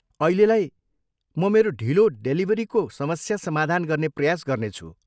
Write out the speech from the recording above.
अहिलेलाई, म मेरो ढिलो डेलिभरीको समस्या समाधान गर्ने प्रयास गर्नेछु।